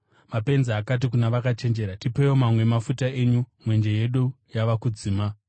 Mapenzi akati kuna vakachenjera, ‘Tipeiwo mamwe emafuta enyu; mwenje yedu yava kudzima.’